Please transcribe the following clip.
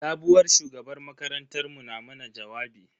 Sabuwar shugabar makarantar mu na mana jawabi.